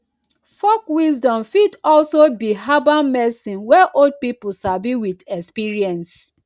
folk wisdom fit also be herbal medicine wey old pipo sabi with experience